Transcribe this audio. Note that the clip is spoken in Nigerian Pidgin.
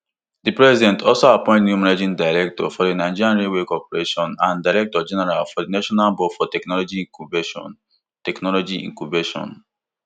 di president also appoint new managing director for di nigerian railway corporation and directorgeneral for di national board for technology incubation technology incubation nbti